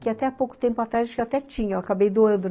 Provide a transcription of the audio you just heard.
que até pouco tempo atrás eu acho que até tinha, eu acabei doando.